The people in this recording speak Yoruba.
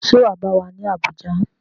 Ṣé wà á bá wa ní Abuja?